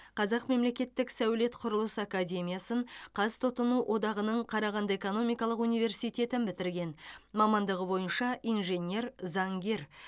қазақ мемлекеттік сәулет құрылыс академиясын қазтұтыну одағының қарағанды экономикалық университетін бітірген мамандығы бойынша инженер заңгер